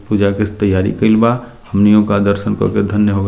पूजा के इस तैयारी कइल बा हमनि ओका दर्शन कर के धन्य हो ग --